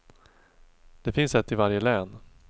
Det finns ett i varje län.